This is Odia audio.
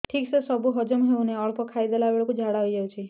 ଠିକସେ ସବୁ ହଜମ ହଉନାହିଁ ଅଳ୍ପ ଖାଇ ଦେଲା ବେଳ କୁ ଝାଡା ହେଇଯାଉଛି